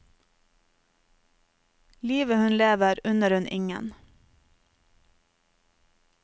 Livet hun lever unner hun ingen.